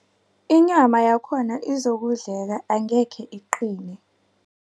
Inyama yakhona izokudleka angekhe iqine.